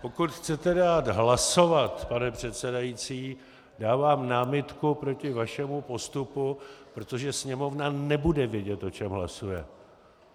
Pokud chcete dát hlasovat, pane předsedající, dávám námitku proti vašemu postupu, protože Sněmovna nebude vědět, o čem hlasuje.